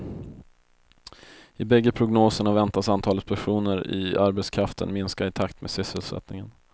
I bägge prognoserna väntas antalet personer i arbetskraften minska i takt med sysselsättningen.